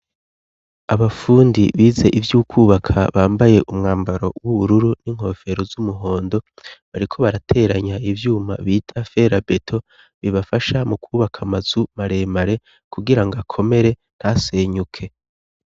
abafundi bize ivyo kubaka bambaye umwambaro w'ubururu n'inkofero z'umuhondo, bariko barateranya ivyuma bita ferabeto bibafasha mu kubaka amazu maremare, kugira ngo akomere ntasenyuke.